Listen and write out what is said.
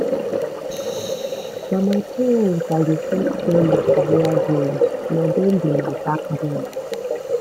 na my parents i dey first tell my career goals na dem be my backbone